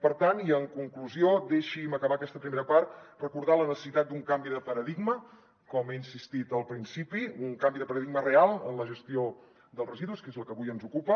per tant i en conclusió deixi’m acabar aquesta primera part recordant la necessitat d’un canvi de paradigma com he insistit al principi un canvi de paradigma real en la gestió dels residus que és la que avui ens ocupa